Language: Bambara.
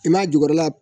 I m'a jukɔrɔla